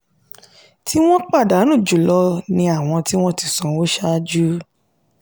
tí wọn pàdánù jùlọ ni àwọn tí wọ́n ti sanwó ṣáájú.